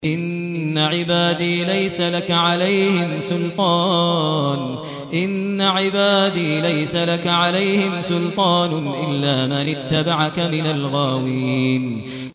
إِنَّ عِبَادِي لَيْسَ لَكَ عَلَيْهِمْ سُلْطَانٌ إِلَّا مَنِ اتَّبَعَكَ مِنَ الْغَاوِينَ